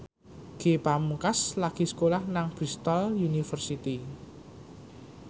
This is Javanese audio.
Ge Pamungkas lagi sekolah nang Bristol university